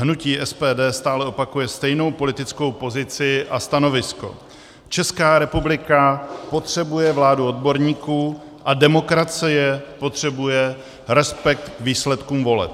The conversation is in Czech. Hnutí SPD stále opakuje stejnou politickou pozici a stanovisko: Česká republika potřebuje vládu odborníků a demokracie potřebuje respekt k výsledkům voleb.